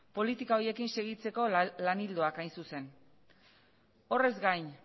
politika horiekin segitzeko lan ildoak hain zuzen horrez gain